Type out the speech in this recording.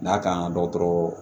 N'a kan ka dɔgɔtɔrɔ